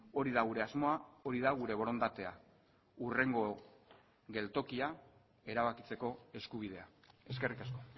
hori da gure asmoa hori da gure borondatea hurrengo geltokia erabakitzeko eskubidea eskerrik asko